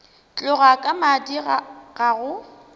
tloga ka madi ga go